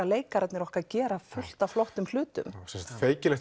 leikararnir okkar gera fullt af flottum hlutum